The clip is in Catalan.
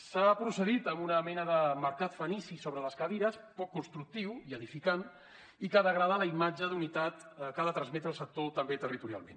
s’ha procedit a una mena de mercat fenici sobre les cadires poc constructiu i edificant i que degrada la imatge d’unitat que ha de transmetre el sector també territorialment